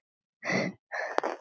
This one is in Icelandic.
Algjört dúndur!